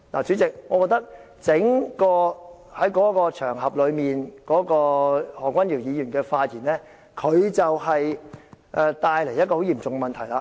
主席，我認為在該場合，何君堯議員的整個發言會帶來很嚴重的問題。